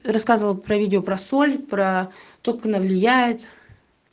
рассказывал про видео про соль про то как она влияет